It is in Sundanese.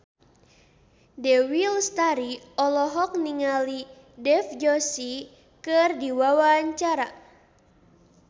Dewi Lestari olohok ningali Dev Joshi keur diwawancara